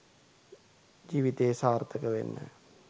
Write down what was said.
ජීවිතයේ සාර්ථක වෙන්න